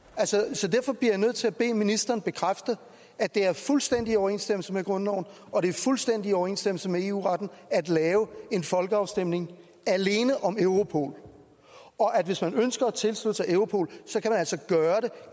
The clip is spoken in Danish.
så derfor bliver jeg nødt til at bede ministeren bekræfte at det er fuldstændig i overensstemmelse med grundloven og at det er fuldstændig i overensstemmelse med eu retten at lave en folkeafstemning alene om europol og at hvis man ønsker at tilslutte sig europol